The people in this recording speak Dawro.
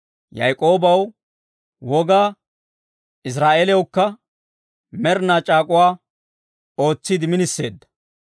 Yaak'oobaw woga, Israa'eeliyawukka med'inaa c'aak'uwaa ootsiide miniseedda.